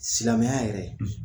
Silamɛya yɛrɛ